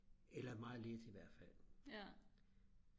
eller meget lidt i hvert fald